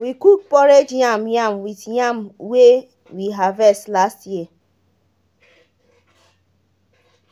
we cook porridge yam yam with yam wey we harvest last year